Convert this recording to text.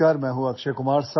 Hello, I am Akshay Kumar